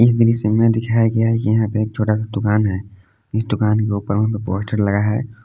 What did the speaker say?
इस दृश्य में दिखाया गया है कि यहां पे एक छोटा सा दुकान है इस दुकान के ऊपर में एक पोस्टर लगा है।